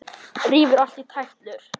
Rífur allt í tætlur.